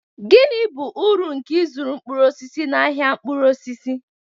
Gịnị bụ uru nke ịzụrụ mkpụrụ osisi na ahia mkpụrụ osisi?